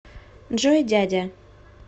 джой дядя